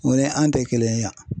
O ye an tɛ kelen ye yan